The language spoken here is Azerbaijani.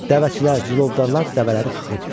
Dəvəçilər, cilovdarlar dəvələri xıxırtdılar.